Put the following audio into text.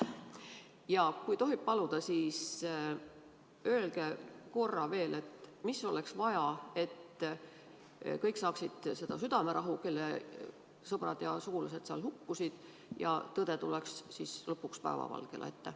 Ja kui tohib paluda, siis öelge korra veel, mida oleks vaja, et kõik, kelle sõbrad või sugulased seal hukkusid, saaksid südamerahu ning tõde tuleks lõpuks päevavalgele.